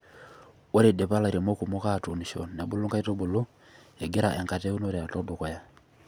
Ore eidipa lairemok kumok aatuunisho nebulu nkaitubulu, egira enkata e unore alo dukuya.